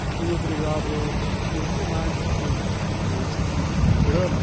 Eu fui obrigado, porque quem mais convive com esse tipo de drama?